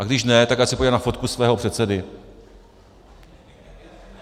A když ne, tak ať se podívá na fotku svého předsedy.